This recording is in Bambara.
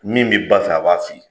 Min b'i ba fɛ a b'a f'i ye.